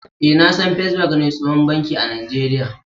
Eh, na san " first bank " ne tsohon banki a najeria.